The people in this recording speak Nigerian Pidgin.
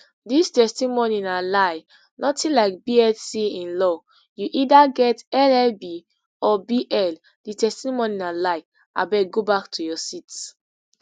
dis testimony na lie notin like bsc in law you either get llb or bl di testimony na lie abeg go back to your seat